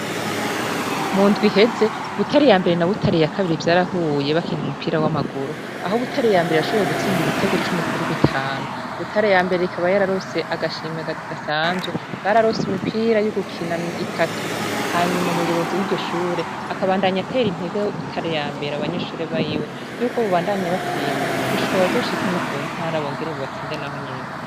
Mu ndwi iheze, Butare ya mbere na Butare ya kabiri vyarahuye bakina umupira w'amaguru, aho Butare ya mbere yashoboye gutsinda ibitego cumi kuri bitanu. Butare ya mbere ikaba yararonse agashimwe kadasanzwe; bararonse imipira yo gukina itatu, hanyuma umuyobozi w'iryo shure akabandanya atera intege Butare ya mbere, abanyeshure biwe y'uko bobandanya batsinda gushika bazoshike no kuntara, bongere batsinde nahonyene.